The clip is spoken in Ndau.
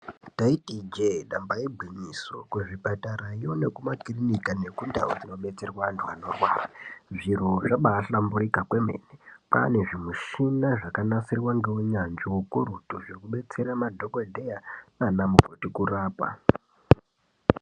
Taiti i jee damba igwinyiso , kuzvipatarayo nekuma kirinika nekundau dzinodetserwa antu anorwara zviro zvabaa hlamburika kwemene kwaane zvimushina zvakanasirwa ngeunyanzvi hukurutu zvekudetsera madhokodheya naana mukoti kurapa .